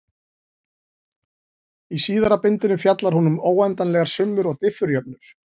Í síðara bindinu fjallar hún um óendanlegar summur og diffurjöfnur.